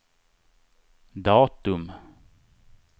datum